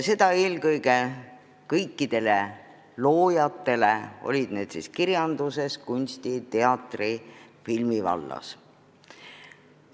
Seda eelkõige kõikidele loojatele, olgu kirjanduses, kunsti, teatri või filmi vallas.